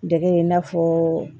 Dege i n'a fɔ